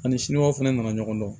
Ani siniwaw fana nana ɲɔgɔn dɔn